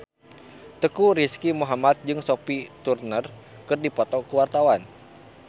Teuku Rizky Muhammad jeung Sophie Turner keur dipoto ku wartawan